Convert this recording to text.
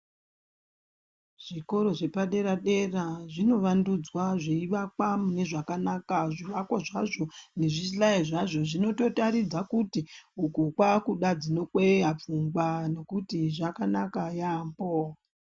Zvikora zvepadera dera zvinovandudzwa zveivakwa mune zvakanaka zvivakwa zvacho nezvihlayo zvacho zvinotoratidza kuti uku kwakuda dzinotokweya pfungwa nekuti zvakanaka yambo.